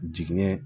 Jigiɲɛ